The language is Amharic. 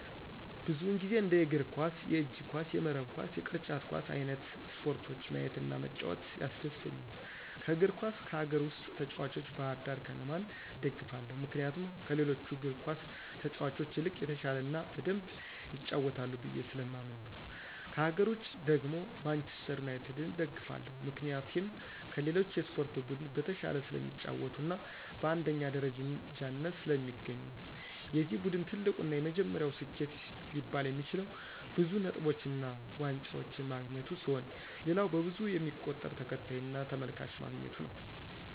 ብዙውን ጊዜ እንደ የእግር ኳስ፣ የእጅ ኳስ፣ የመረብ ኳስ፣ ቅርጫት ኳስ አይንት ስፖርቶችን ማየት እና መጫወት ያስደስተኛል። ከእግር ኳስ ከሀገር ውስጥ ተጭዋቾች ባህርዳር ከነማን እደግፋለሁ ምክንያቱም ከሌሎቹ እግር ኳስ ተጫዋቾች ይልቅ የተሻለ እና በደምብ ይጫወታሉ ብየ ስለማምን ነው። ከሀገር ውጭ ደግሞ ማንችስተር ዩናቲድን እደግፋለሁ ምክንያቴም ከሌሎች የስፖርት ቡድን በተሻለ ስለሚጫወቱ እና በአንደኛ ደረጃነት ስለሚገኙ ነው። የዚ ቡድን ትልቁ እና የመጀመሪያው ስኬት ሊባል የሚችለው ብዙ ነጥቦችን እና ዋንጫዎችን ማግኘቱ ሲሆን ሌላው በብዙ የሚቆጠር ተከታይ እና ተመልካች ማግኘቱ ነው።